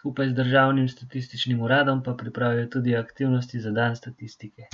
skupaj z državnim statističnim uradom pa pripravijo tudi aktivnosti za dan statistike.